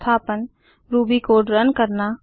संस्थापन Ruby code run करना